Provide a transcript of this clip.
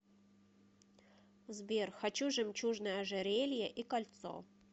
сбер хочу жемчужное ожерелье и кольцо